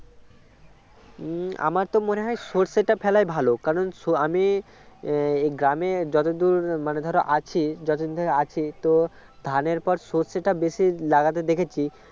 হম আমার তো মনে হয় সর্ষেটা ফেলাই ভাল কারণ আমি এই গ্রামে যতদূর মানে ধরো আছি যতদিন ধরে আছি তো ধানের পর সর্ষেটা বেশি লাগাতে দেখেছি